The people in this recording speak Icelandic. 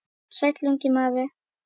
Sæll, ungi maður